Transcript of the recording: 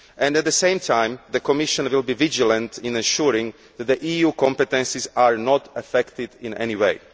At the same time, the Commission will be vigilant in ensuring that the EU's competences are not affected in any way.